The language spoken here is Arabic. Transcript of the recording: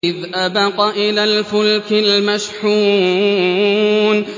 إِذْ أَبَقَ إِلَى الْفُلْكِ الْمَشْحُونِ